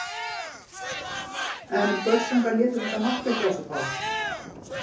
En Börsungar létu þetta mark ekki á sig fá.